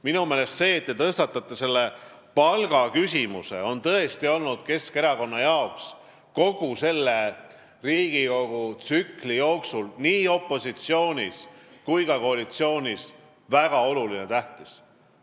Minu meelest on see hea, et te selle palgaküsimuse tõstatasite, sest see on tõesti olnud Keskerakonnale kogu selle Riigikogu tsükli jooksul, nii opositsioonis kui ka koalitsioonis olles väga tähtis.